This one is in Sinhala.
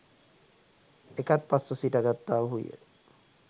එකත්පස් ව සිටගත්තාහු ය.